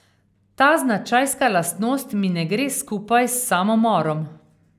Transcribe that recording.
Ta značajska lastnost mi ne gre skupaj s samomorom.